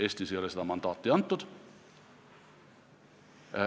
Eestis ei ole seda mandaati antud.